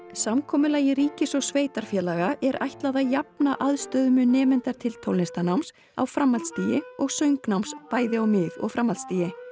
samkomulagi ríkis og sveitarfélaga er ætlað að jafna aðstöðumun nemenda til tónlistarnáms á framhaldsstigi og söngnáms á mið og framhaldsstigi